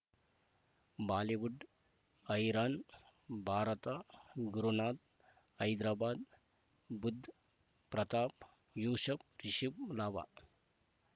Bollywood ಹೈರಾಣ್ ಭಾರತ ಗುರುನಾಥ ಹೈದರಾಬಾದ್ ಬುಧ್ ಪ್ರತಾಪ್ ಯೂಶ್ ಫ್ ರಿಷಬ್ ಲಾಭ